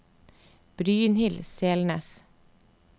Brynhild Selnes